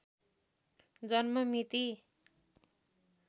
जन्म मिति